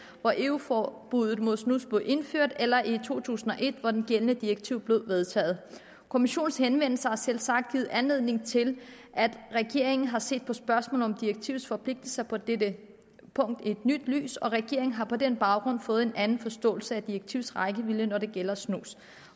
hvor eu forbuddet mod snus blev indført eller i to tusind og et hvor det gældende direktiv blev vedtaget kommissionens henvendelse har selvsagt givet anledning til at regeringen har set på spørgsmålet om direktivets forpligtelser på dette punkt i et nyt lys og regeringen har på den baggrund fået en anden forståelse af direktivets rækkevidde når det gælder snus